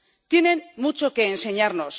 tienen mucho que enseñarnos.